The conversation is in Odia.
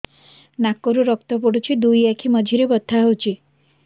ନାକରୁ ରକ୍ତ ପଡୁଛି ଦୁଇ ଆଖି ମଝିରେ ବଥା ହଉଚି